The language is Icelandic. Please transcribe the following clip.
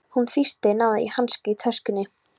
Hún tvísteig, náði í hanska í töskunni.